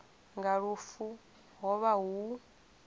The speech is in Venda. nga lufu ho vha hu